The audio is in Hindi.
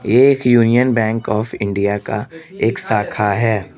एक यूनियन बैंक ऑफ़ इंडिया का एक शाखा है।